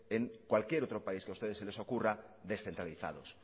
en cualquier otro país que a ustedes se les ocurra descentralizados